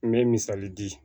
N bɛ misali di